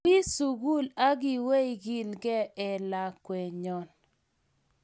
Ui sukul akiwei kilkee eh lakwenyon